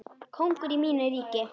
Kóngur í mínu ríki.